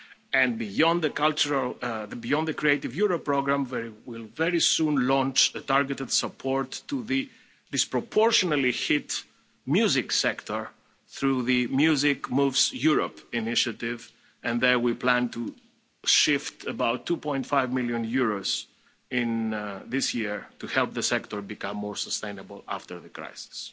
And beyond the Creative Europe programme we will very soon launch a targeted support to the disproportionately hit music sector through the Music Moves Europe initiative and there we plan to shift about EUR 2.5 million in this year to help the sector become more sustainable after the crisis.